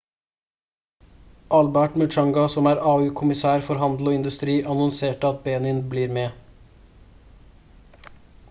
albert muchanga som er au-kommisær for handel og industri annonserte at benin blir med